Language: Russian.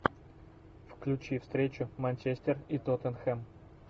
включи встречу манчестер и тоттенхэм